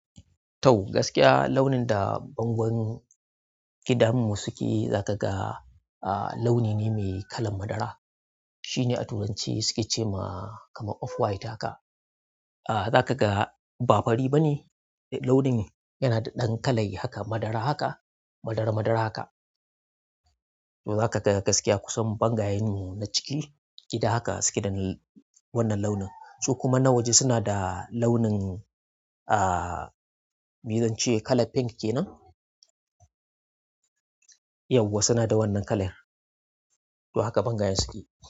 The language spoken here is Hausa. To gaskiya launin da bangon gidanmu suke zaka ga, a launi ne mai kalan madara. Shine a turanci suke cewa kama off white haka. Zaka ga ba fari bane. Launi yana da ɗan kalai haka madara haka, madara madara haka. To zaka ga gaskiya kusan bangayen mu na ciki gida haka suke da wannan launin. Su kuma na waje suna da launin, ah, mi zance kalan pink kenan. Yawwa suna da wannan kalan to haka bangayen suke.